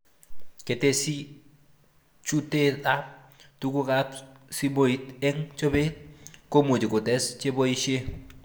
Ketesii chuteab tugukab simoit eng chobet komuch kotes cheboishe